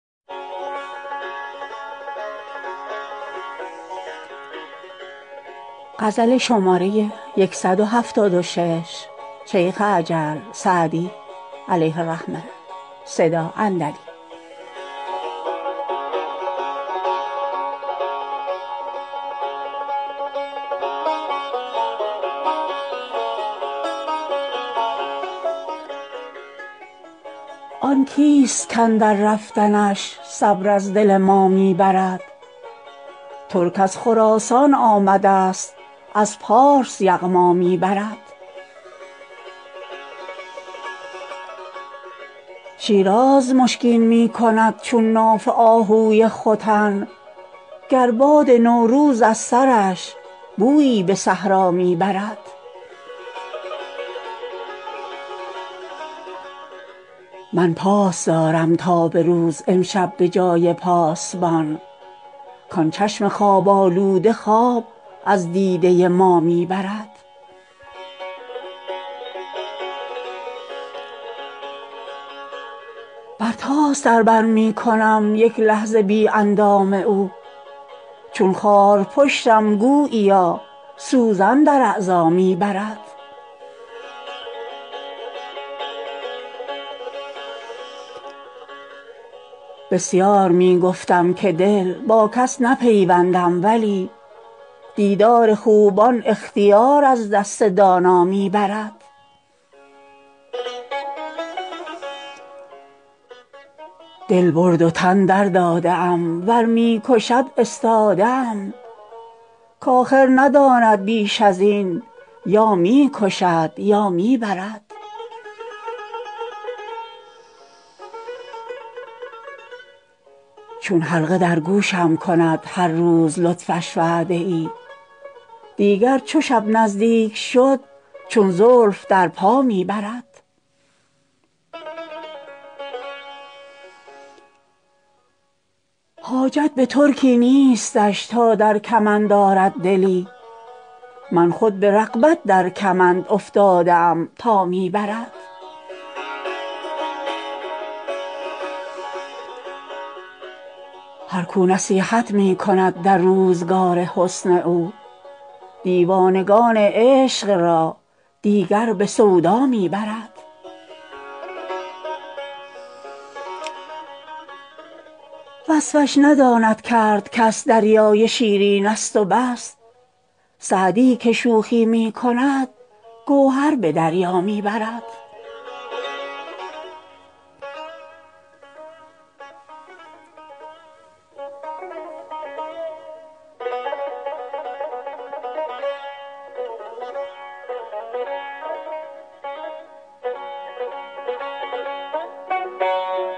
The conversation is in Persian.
آن کیست کاندر رفتنش صبر از دل ما می برد ترک از خراسان آمدست از پارس یغما می برد شیراز مشکین می کند چون ناف آهوی ختن گر باد نوروز از سرش بویی به صحرا می برد من پاس دارم تا به روز امشب به جای پاسبان کان چشم خواب آلوده خواب از دیده ما می برد برتاس در بر می کنم یک لحظه بی اندام او چون خارپشتم گوییا سوزن در اعضا می برد بسیار می گفتم که دل با کس نپیوندم ولی دیدار خوبان اختیار از دست دانا می برد دل برد و تن درداده ام ور می کشد استاده ام کآخر نداند بیش از این یا می کشد یا می برد چون حلقه در گوشم کند هر روز لطفش وعده ای دیگر چو شب نزدیک شد چون زلف در پا می برد حاجت به ترکی نیستش تا در کمند آرد دلی من خود به رغبت در کمند افتاده ام تا می برد هر کو نصیحت می کند در روزگار حسن او دیوانگان عشق را دیگر به سودا می برد وصفش نداند کرد کس دریای شیرینست و بس سعدی که شوخی می کند گوهر به دریا می برد